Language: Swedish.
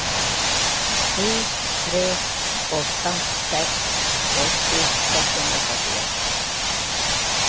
sju tre åtta sex åttio sexhundrafyrtioett